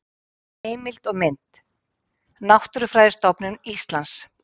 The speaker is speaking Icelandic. Heimild og mynd: Náttúrufræðistofnun Íslands